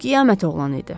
Qiyamət oğlanı idi.